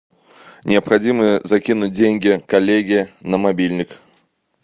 необходимо закинуть деньги коллеге на мобильник